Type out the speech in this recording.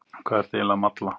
Hvað ertu eiginlega að malla?